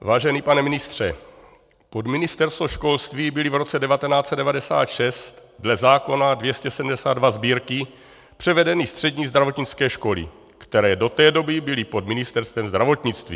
Vážený pane ministře, pod Ministerstvo školství byly v roce 1996 dle zákona 272 Sb., převedeny střední zdravotnické školy, které do té doby byly pod Ministerstvem zdravotnictví.